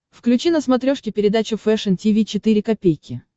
включи на смотрешке передачу фэшн ти ви четыре ка